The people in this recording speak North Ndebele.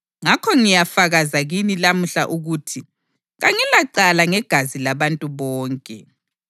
Ngakho ngiyafakaza kini lamuhla ukuthi kangilacala ngegazi labantu bonke.